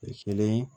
Kelen